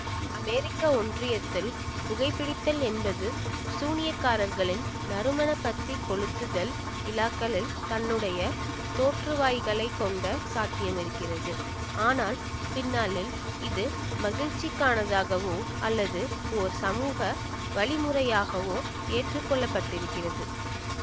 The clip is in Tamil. அமெரிக்க ஒன்றியத்தில் புகைபிடித்தல் என்பது சூனியக்காரர்களின் நறுமணப்பத்திகொளுத்துதல் விழாக்களில் தன்னுடைய தோற்றுவாய்களைக் கொண்ட சாத்தியமிருக்கிறது ஆனால் பின்னாளில் இது மகிழ்ச்சிக்கானதாகவோ அல்லது ஓர் சமூக வழிமுறையாகவோ ஏற்றுக்கொள்ளப்பட்டிருக்கிறது